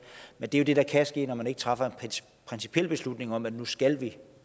men det det der kan ske når man ikke træffer en principiel beslutning om at nu skal vi